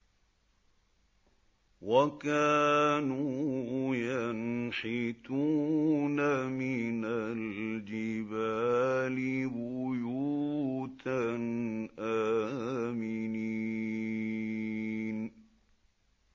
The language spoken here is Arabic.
وَكَانُوا يَنْحِتُونَ مِنَ الْجِبَالِ بُيُوتًا آمِنِينَ